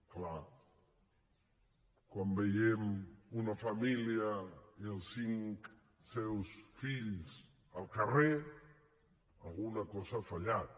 és clar quan veiem una família i els seus cinc fills al carrer alguna cosa ha fallat